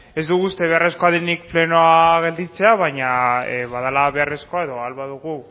ez dugu uste beharrezkoa denik plenoa gelditzea baina badela beharrezkoa edo ahal badugu